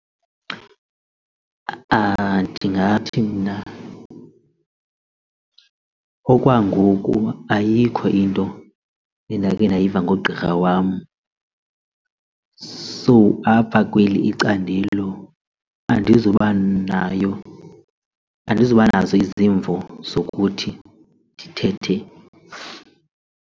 Ndingathi mna okwangoku ayikho into endakhe ndayiva ngogqirha wam. So apha kweli icandelo andizuba nayo andizuba nazo izimvo zokuthi ndithethe.